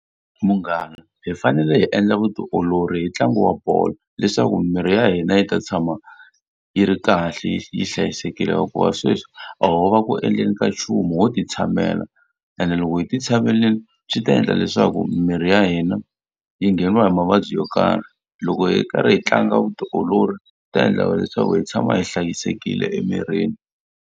Munghana hi fanele hi endla vutiolori hi ntlangu wa bolo, leswaku mirhi ya hina yi ta tshama yi ri kahle yi hlayisekile. Hikuva sweswi a ho va ku endleni ka nchumu ho ti tshamela, ene loko hi ti tshamerile swi ta endla leswaku miri ya hina yi ngheniwa hi mavabyi yo karhi. Loko hi karhi hi tlanga vutiolori, swi ta endla leswaku hi tshama hi hlayisekile emirini.